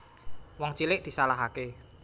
Wong cilik disalahake